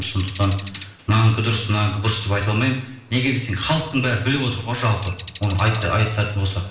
сондықтан мынанікі дұрыс мынанікі бұрыс деп айта алмаймын неге десең халықтың бәрі біліп отыр ғой жалпы оны айтатын болсақ